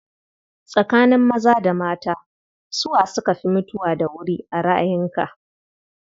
Tsakanin maza da mata, su wa suka fi mutuwa da wuri a ra'ayinka?